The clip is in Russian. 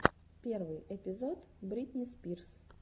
первый эпизод бритни спирс